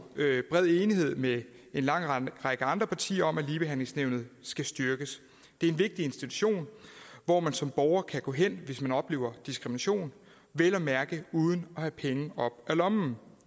bred enighed med en lang række andre partier om at ligebehandlingsnævnet skal styrkes det er en vigtig institution hvor man som borger kan gå hen hvis man oplever diskrimination vel at mærke uden at skulle have penge op af lommen